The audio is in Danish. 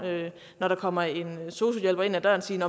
når der kommer en sosu hjælper ind ad døren sige